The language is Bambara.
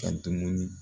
Ka dumuni